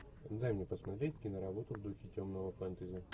дай мне посмотреть киноработу в духе темного фэнтези